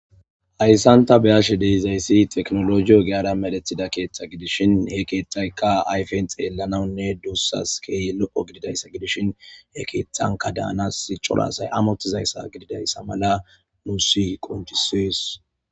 Hayssan ta be'ashe de'izaysi tekinolojiya ogiyara medhetida keeththa gidishin he kethayka ayfen xelanawnne dusas kehi lo'o gididaysa gidishin he kethanka danas c'ora asay amotizayssa gididaysa mala nusi qonc'ises.